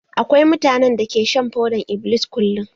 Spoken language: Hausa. Akwai mutanen da ke shan fodar-iblis kullum.